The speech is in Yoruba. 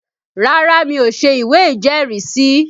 Rárá mi ò ṣe ìwé ìjẹ́rìísí